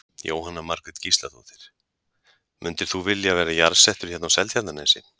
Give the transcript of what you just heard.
Jóhanna Margrét Gísladóttir: Mundir þú vilja vera jarðsettur hérna á Seltjarnarnesi?